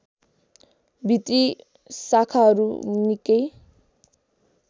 भित्री शाखाहरू निकै